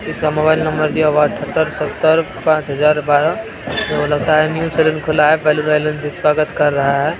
उसका mobile number दिया हुआ है सत्तर पांच हज़ार बारह | सैलून खुला है बैलून से स्वागत कर रहा है।